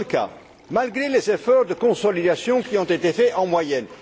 Ce n'est pas le cas, malgré les efforts de consolidation qui ont été faits en moyenne.